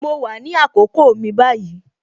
Mo wà ní àkókò mi báyìí